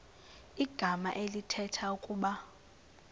igama elithetha ukuba